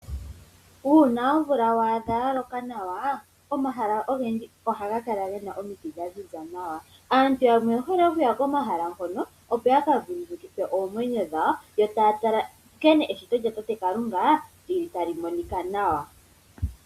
Uuna omvula wa adha ya loka nawa omahala ogendji ohaga kala gena omiti dha ziza nawa . Aantu yamwe oyehole okuya komahala hono opo ya ka vululukithe oomwenyo dhawo yo taya tala nkene eshito lya tate Kalunga lili tali monika nawa